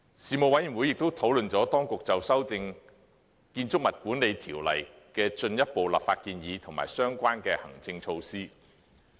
事務委員會亦討論了當局就修訂《建築物管理條例》的進一步立法建議及相關行政措施。